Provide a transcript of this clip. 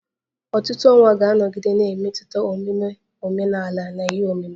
Ọtụtụ ọnwa ga-anọgide na-emetụta omume omenala na ihe omume